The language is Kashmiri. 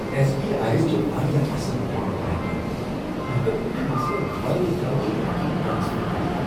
ایس بی آٮٔی یس چھ واریاہ اصل انٹرنیٹ بینکنگ۔ بہٕ ہیکہٕ کُنہ مسلہٕ ورٲے جلدی رقم ٹرانسفر کٔرتھ۔